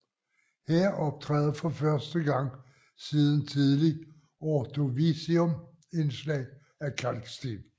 Her optræder for første gang siden Tidlig Ordovicium indslag af kalksten